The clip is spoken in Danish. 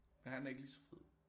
Er han ikke ligeså fed